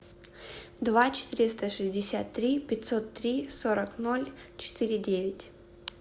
два четыреста шестьдесят три пятьсот три сорок ноль четыре девять